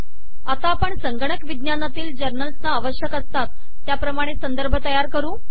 आता आपण संगणक विज्ञानातील जर्नल्सना आवश्यक असतात त्याप्रमाणे संदर्भ तयार करू